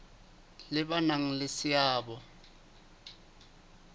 le ba nang le seabo